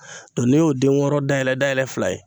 ne y'o den wɔɔrɔ dayɛlɛ dayɛlɛ fila ye